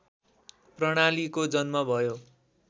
प्रणालीको जन्म भयो